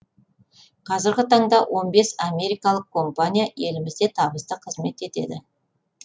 қазіргі таңда он бес америкалық компания елімізде табысты қызмет етеді